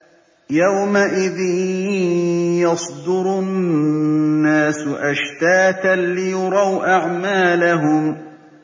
يَوْمَئِذٍ يَصْدُرُ النَّاسُ أَشْتَاتًا لِّيُرَوْا أَعْمَالَهُمْ